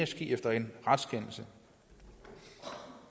ske efter en retskendelse